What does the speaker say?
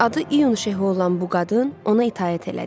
Adı İyun Şehu olan bu qadın ona itaət elədi.